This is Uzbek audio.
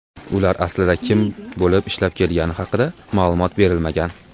Ular aslida kim bo‘lib ishlab kelgani haqida ma’lumot berilmagan.